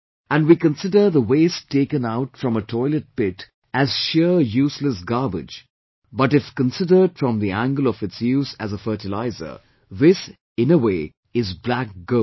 And we consider the waste taken out from a toilet pit as sheer useless garbage but if considered from the angle of its use as a fertiliser, this, in a way, is black gold